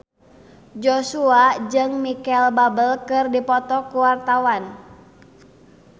Joshua jeung Micheal Bubble keur dipoto ku wartawan